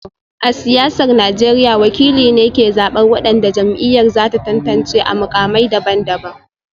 A siyasar Najeriya, wakili ne ke zabar wadanda jam'iyyar za ta tantance a mukamai daban-daban